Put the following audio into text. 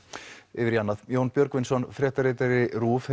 yfir í annað Jón Björgvinsson fréttaritari RÚV